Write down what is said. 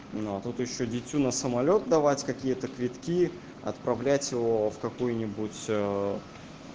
ну а тут ещё дитю на самолёт давать какие-то квитки отправлять его в какую-нибудь